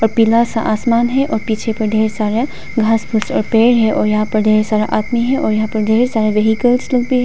पीला सा आसमान है और पीछे पर ढेर सारा घास फूस और पेड़ है और यहां पर ढेर सारा आदमी है और यहां पर ढेर सारे व्हीकल्स लोग भी --